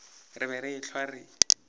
re be re ehlwa re